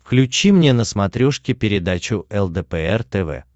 включи мне на смотрешке передачу лдпр тв